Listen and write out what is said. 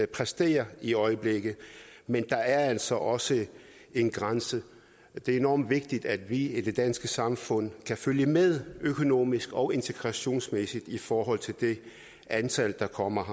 præsterer i øjeblikket men der er altså også en grænse det er enormt vigtigt at vi i det danske samfund kan følge med økonomisk og integrationsmæssigt i forhold til det antal der kommer